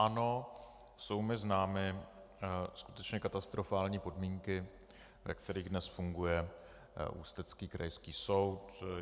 Ano, jsou mi známy skutečně katastrofální podmínky, ve kterých dnes funguje ústecký krajský soud.